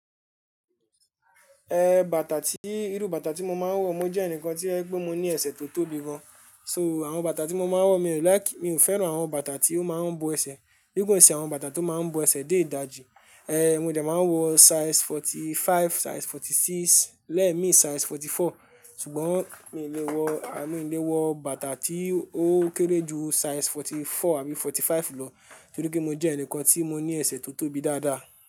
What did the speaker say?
Eh, bàtà tí, irú bàtà tí mo máa ń wọ, mo jẹ́ ẹnìkan tí ẹ gbọ́ mo ní ẹsẹ̀ tó tóbi gan. So, àwọn bàtà tí mo máa ń wọ, mi ò like, mi ò fẹ́ràn àwọn bàtà tí ó máa ń bo ẹsẹ̀. Bí gbọ̀nsẹ̀ àwọn bàtà tó máa ń bo ẹsẹ̀ dé ìdajì. Eh, mo jẹ̀ máa ń wọ size forty five, size forty six, lẹ́ẹ̀mi size forty four, ṣùgbọ́n mi ò lè wọ, à mí ò lè wọ bàtà tí ó kéré ju size forty four àbí forty five lọ, torí kí mo jẹ́ ẹnìkan tí mo ní ẹsẹ̀ tó tóbi dáadáa.